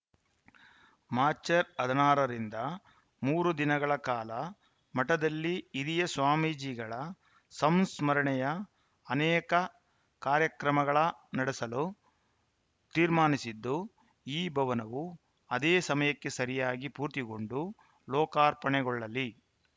March ಹದಿನಾರ ರಿಂದ ಮೂರು ದಿನಗಳ ಕಾಲ ಮಠದಲ್ಲಿ ಹಿರಿಯ ಸ್ವಾಮೀಜಿಗಳ ಸಂಸ್ಮರಣೆಯ ಅನೇಕ ಕಾರ್ಯಕ್ರಮಗಳ ನಡೆಸಲು ತೀರ್ಮಾನಿಸಿದ್ದು ಈ ಭವನವು ಅದೇ ಸಮಯಕ್ಕೆ ಸರಿಯಾಗಿ ಪೂರ್ತಿಗೊಂಡು ಲೋಕಾರ್ಪಣೆಗೊಳ್ಳಲಿ